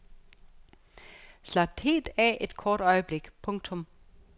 Slap helt af et kort øjeblik. punktum